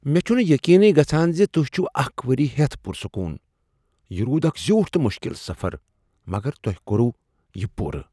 مےٚ چھنہٕ یقینٕی گژھان ز تہۍ چھو اکھ ؤری ہیتھ پُر سکون! یہ روٗد اکھ زیوٹھ تہٕ مشکل سفر، مگر تۄہہ کۄر وہ یِہ پورٕ!